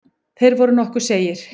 Þeir voru nokkuð seigir.